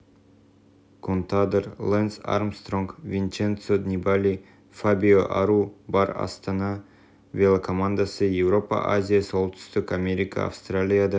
контадор лэнс армстронг винченцо нибали фабио ару бар астана велокомандасы еуропа азия солтүстік америка австралияда